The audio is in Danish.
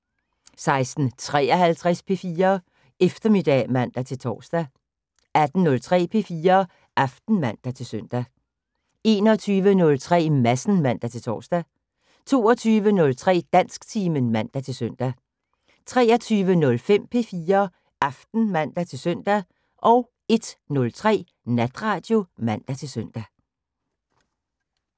16:53: P4 Eftermiddag (man-tor) 18:03: P4 Aften (man-søn) 21:03: Madsen (man-tor) 22:03: Dansktimen (man-søn) 23:05: P4 Aften (man-søn) 01:03: Natradio (man-søn)